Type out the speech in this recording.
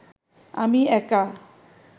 আমি একা